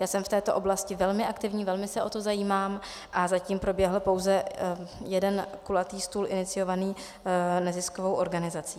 Já jsem v této oblasti velmi aktivní, velmi se o to zajímám, a zatím proběhl pouze jeden kulatý stůl iniciovaný neziskovou organizací.